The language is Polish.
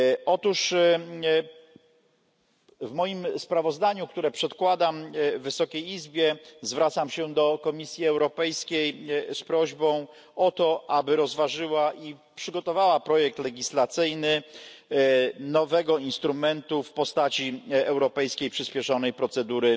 Otóż w moim sprawozdaniu, które przedkładam Wysokiej Izbie, zwracam się do Komisji Europejskiej z prośbą o to, aby rozważyła i przygotowała projekt legislacyjny nowego instrumentu w postaci europejskiej przyspieszonej procedury